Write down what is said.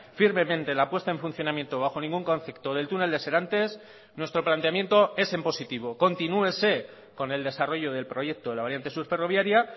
firmemente la puesta en funcionamiento bajo ningún concepto del túnel de serantes nuestro planteamiento es en positivo continúese con el desarrollo del proyecto de la variante sur ferroviaria